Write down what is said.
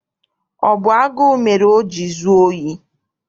Ọ bụ agụụ mere o jiri zuo ohi?